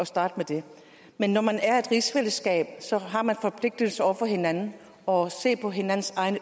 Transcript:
starte på det men når man er et rigsfællesskab har man forpligtelser over for hinanden og se på hinandens